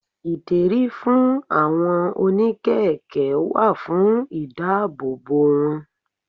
Ìdérí fún àwọn oní kẹ̀kẹ́ wà fún ìdáàbò wọn.